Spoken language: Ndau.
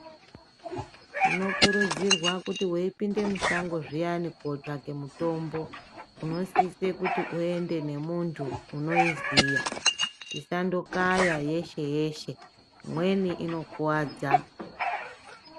Tinokurudzirwa kuti weipinde mushango zviyani kotsvake mutombo, unosise kuti uende nemuntu unoiziya. Tisandokaya yeshe-yeshe, imweni inokuwadza.